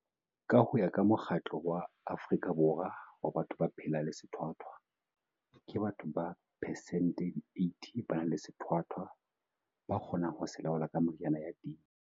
Ka ho ya ka Mokgatlo wa Afrika Borwa wa Batho ba phelang le Sethwathwa, ke batho ba persente di 80 ba nang le sethwathwa ba kgonang ho se laola ka meriana ya teng.